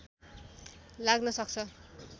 लाग्न सक्छ